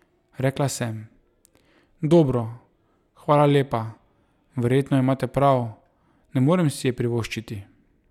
Rekla sem: 'Dobro, hvala lepa, verjetno imate prav, ne morem si je privoščiti'.